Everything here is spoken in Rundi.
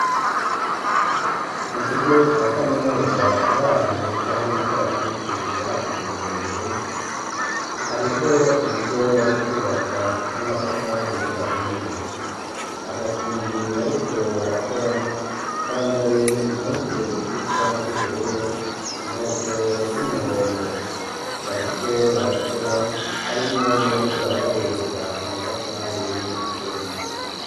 Mu kigo ca kaminuza kiri ahantu heza hari ibikaratusi vyakuze birebire hariho urugo bari kwubaka n'amatafari ahiye abafundi bariko barakora bambaye impuzu zisa z'ubururu inkofero z'umuhondo bariko barakora harimwo n'a bariko barabahereza amatafari numusenyi.